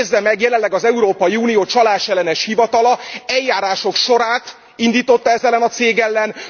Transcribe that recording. Nézze meg, jelenleg az Európai Unió csalásellenes hivatala eljárások sorát indította ez ellen a cég ellen.